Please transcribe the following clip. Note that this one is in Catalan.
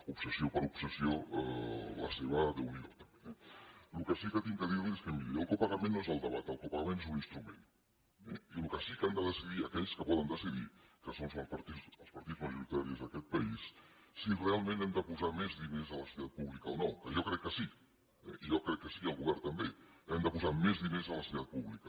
obsessió per obsessió la seva déu n’hi do també eh el que sí que haig de dir li és que miri el copagament no és el debat el copagament és un instrument eh i el que sí que han de decidir aquells que poden decidir que són els partits majoritaris d’aquest país és si realment hem de posar més diners a la sanitat pública o no que jo crec que sí eh jo crec que sí i el govern també hem de posar més diners a la sanitat pública